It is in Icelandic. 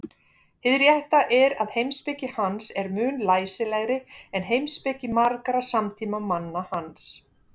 Hið rétta er að heimspeki hans er mun læsilegri en heimspeki margra samtímamanna hans.